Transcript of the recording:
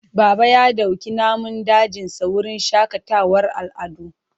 Baba ya dauki namun dajinsa wurin shakatawar al'adu.